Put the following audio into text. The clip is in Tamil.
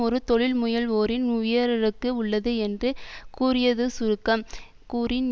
ஒரு தொழில் முயல்வோரின் உயரடுக்கு உள்ளது என்று கூறியதுசுருங்கக் கூறின்